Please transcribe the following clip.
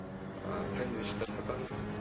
ыыы сэндвичтер сатамыз